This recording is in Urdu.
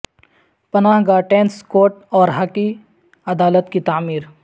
پناہ گاہ ٹینس کورٹ اور ہاکی عدالت کی تعمیر